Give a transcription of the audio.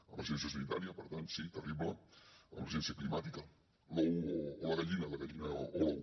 emergència sanitària per tant sí terrible emergència climàtica l’ou o la gallina la gallina o l’ou